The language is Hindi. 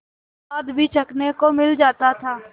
स्वाद भी चखने को मिल जाता था